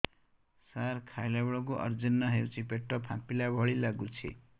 ସାର ଖାଇଲା ବେଳକୁ ଅଜିର୍ଣ ହେଉଛି ପେଟ ଫାମ୍ପିଲା ଭଳି ଲଗୁଛି